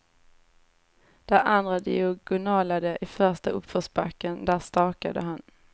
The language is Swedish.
Där andra diagonalade i första uppförsbacken, där stakade han.